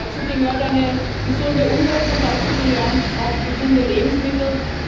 Dazu gehört eine gesunde Umwelt, und dazu gehören auch gesunde Lebensmittel.